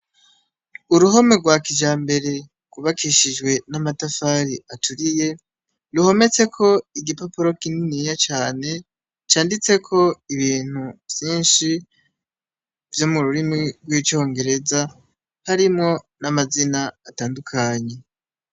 Uruhome rwa kijambere rwubakishijwe n' amatafari aturiye ruhometseko igipapuro kininiya cane canditseko ibintu vyinshi vyo mururimi rw'icongereza harimwo n' amazina atandukanye.